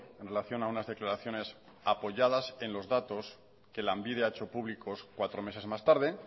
en relación a unas declaraciones apoyadas en los datos que lanbide ha hecho públicos cuatro meses más tarde